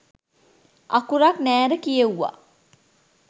අකුරක් නෑර කියෙවුවා